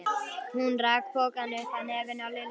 Hún rak pokann upp að nefinu á Lillu.